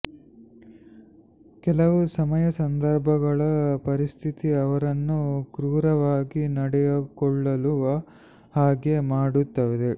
ಕೆಲವು ಸಮಯ ಸಂದರ್ಭಗಳು ಪರಿಸ್ಥಿತಿ ಅವರನ್ನು ಕ್ರೂರವಾಗಿ ನಡೆದುಕೊಳ್ಳುವ ಹಾಗೆ ಮಾಡುತ್ತದೆ